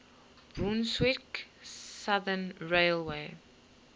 brunswick southern railway